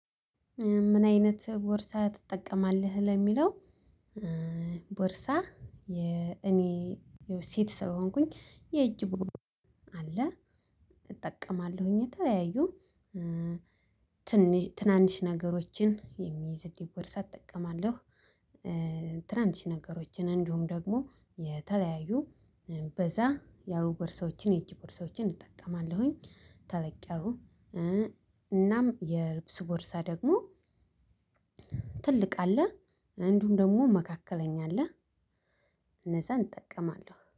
ምን አይነት ቦርሳ ትጠቀማለህ ለሚለው? ቦርሳ የኔ ሴት ስለሆንኩኝ የእጅ ቦርሳ አለ እጠቀማለሁኝ። የተለያዩ ትናንሽ ነገሮችን የሚይዝልኝ ቦርሳ እጠቀማለሁኝ። ትናንሽ ነገሮችን እንዲሁም ደሞ የተለያዩ በዛ ያሉ ቦርሳዎችን የእጅ ቦርሳዎችን እጠቀማለሁ ተለቅያሉ። እናም የልብስ ቦርሳ ደግሞ ትልቅ አለ እንዲሁም ደግሞ መካከለኛ አለ። እነዛን እጠቀማለሁ